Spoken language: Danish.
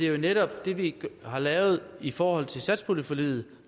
jo netop det vi har lavet i forhold til satspuljeforliget